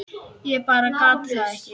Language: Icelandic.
Ég bara gat það ekki.